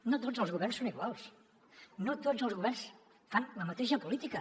no tots els governs són iguals no tots els governs fan la mateixa política